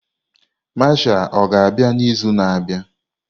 Mashal ọga-abịa n'izu na-abịa?